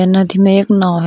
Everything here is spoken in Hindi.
नदी में एक नाव है।